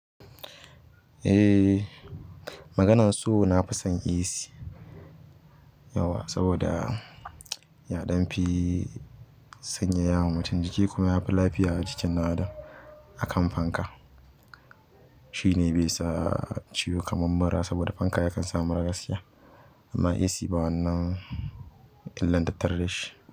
Eh, maganan so na fi son AC yauwa saboda ya ɗan fi sanyaya wa mutum jiki kuma yafi lafiya a jikin naɗa akan fanka. Shi ne bai sa ciwo kamar mura saboda fanka yakan sa mura gaskiya amma AC ba wannan illan tattare dashi.